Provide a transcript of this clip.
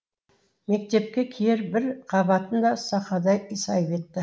мектепке киер бір қабатын да сақадай сай етті